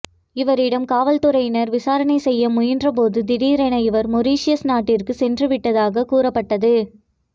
இவரிடம் காவல்துறையினர் விசாரணை செய்ய முயன்றபோது திடீரென இவர் மொரிஷியஸ் நாட்டிற்கு சென்றுவிட்டதாக கூறப்பட்டது